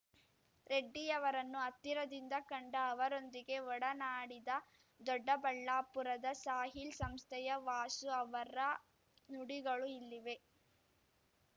ರೆಡ್ಡಿಯವರನ್ನು ಹತ್ತಿರದಿಂದ ಕಂಡ ಅವರೊಂದಿಗೆ ಒಡನಾಡಿದ ದೊಡ್ಡಬಳ್ಳಾಪುರದ ಸಾಹಿಲ್‌ ಸಂಸ್ಥೆಯ ವಾಸು ಅವರ ನುಡಿಗಳು ಇಲ್ಲಿವೆ